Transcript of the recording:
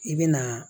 I bɛ na